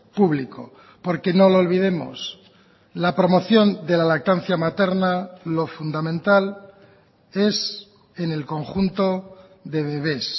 público porque no lo olvidemos la promoción de la lactancia materna lo fundamental es en el conjunto de bebes